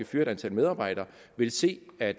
fyre et antal medarbejdere vil se at